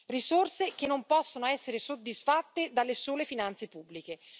Risorse che non possono essere soddisfatte dalle sole finanze pubbliche.